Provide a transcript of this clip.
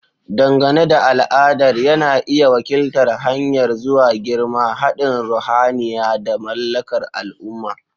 Dangane da al'adar, yana iya wakiltar hanyar zuwa girma, haɗin ruhaniya, da mallakar al'umma.